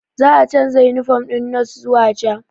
Za a canza yunifom ɗin nos zuwa ja